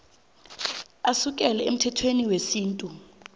asukela emthethweni wesintu